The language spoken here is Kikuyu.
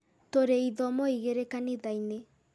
Tũrĩ ithomo igĩrĩ kanitha-inĩ